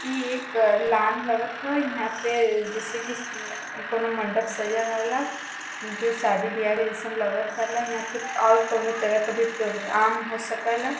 ई एक लान लगत ह। ईहाँ पे जैसे कि कौनो मंडप सजल रहल जो शादी बियाह के जैसन लगत रहल। ईहां प और कौनो तरह के भी प्रोग्राम हो सकल।